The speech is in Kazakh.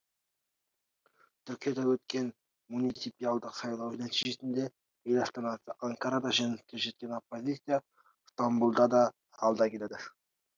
түркияда өткен муниципиалдық сайлау нәтижесінде ел астанасы анкарада жеңіске жеткен оппозиция стамбұлда да алда келеді